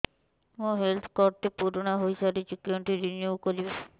ମୋ health card ଟି ପୁରୁଣା ହେଇଯାଇଛି କେଉଁଠି ରିନିଉ କରିବି